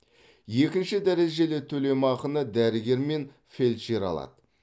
екінші дәрежелі төлемақыны дәрігер мен фельдшер алады